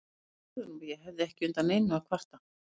Ég sagði honum að ég hefði ekki undan neinu að kvarta.